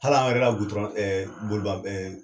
Hal'an yɛrɛ ka gutɔrɔn boliba